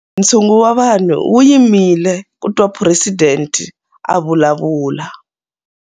Ntshungu wa vanhu wu yimile ku twa phuresidente a vulavula.